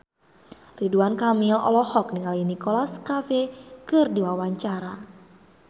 Ridwan Kamil olohok ningali Nicholas Cafe keur diwawancara